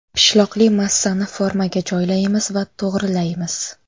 Pishloqli massani formaga joylaymiz va to‘g‘rilaymiz.